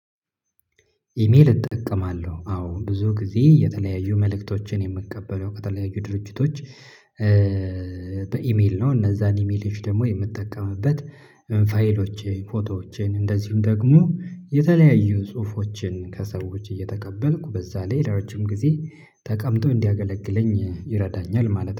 ኢሜል እጠቀማለሁ አዎ ብዙ ጊዜ የተለያዩ መልእክቶችን የምቀበለው ከተለያዩ ድርጅቶች በኢሜል ነው። እነዚያን ኢሜል ደግሞ የምትጠቀምበት ፋይሎቼ ፎቶዎቼን እንደዚሁም ደግሞ የተለያዩ ጽሁፎችን ከሰዎች እየተቀበልኩ በዛ ለረጅም ጊዜ ተቀምጦ እንዲያገለግለኝ ይረዳኛል ማለት ነው